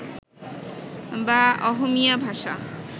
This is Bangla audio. বা অহমীয়া ভাষা